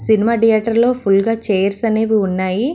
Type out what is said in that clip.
Cinema theatre లో full గా chairs అనేవి ఉన్నాయి.